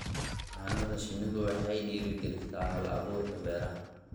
Xannaanada shinnidu waxay dhiirigelisaa hal-abuurka beeraha.